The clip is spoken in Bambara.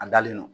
A dalen no